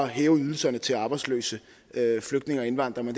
hæve ydelserne til arbejdsløse flygtninge og indvandrere